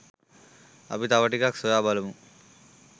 අපි තව ටිකක් සොයා බලමු